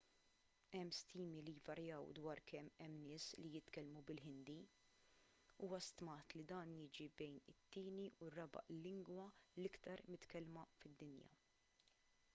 hemm stimi li jvarjaw dwar kemm hemm nies li jitkellmu bil-ħindi huwa stmat li dan jiġi bejn it-tieni u r-raba' lingwa l-aktar mitkellma fid-dinja